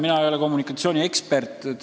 Mina ei ole kommunikatsiooniekspert.